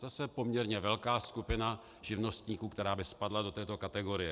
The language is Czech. Zase poměrně velká skupina živnostníků, která by spadla do této kategorie.